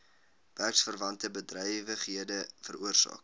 werksverwante bedrywighede veroorsaak